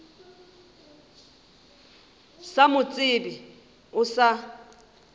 sa mo tsebe o sa